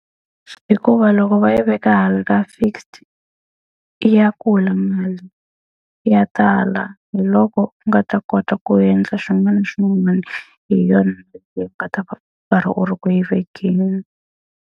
Hikuva loko va yi veka hala ka fixed, i ya kula mali ya tala. Hi loko u nga ta kota ku endla swin'wana na swin'wana hi yona u karhi u ri ku yi vekeni.